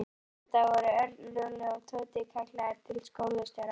Næsta dag voru Örn, Lúlli og Tóti kallaðir til skólastjóra.